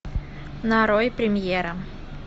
нарой премьера